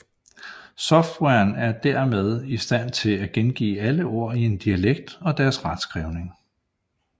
Softwaren er dermed i stand til at gengive alle ord i en dialekt og deres retskrivning